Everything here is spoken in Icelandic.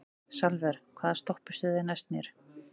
Salvör, hvaða stoppistöð er næst mér?